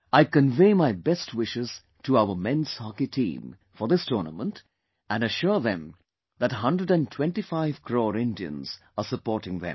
I convey my best wishes to our Men's Hockey Team for this tournament and assure them that 125 crore Indians are supporting them